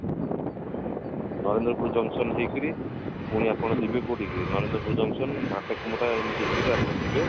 ଉଁ ନରେନ୍ଦ୍ରପୁର junction ହେଇକିରି ପୁଣି ଆପଣ ଯିବେ କୋଉଠି କି ନରେନ୍ଦ୍ରପୁର junction ଭାତକୁମରଡା ଏମିତି ହେଇକିରି ଆପଣ ଯିବେ